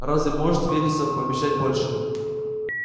разве может вересов пообещать больше